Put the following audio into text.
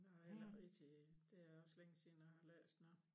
Jeg har heller ikke rigtig det er også længe siden jeg har læst noget